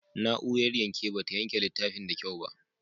Na'urar yanke ba ta yanke littafin da kyau ba.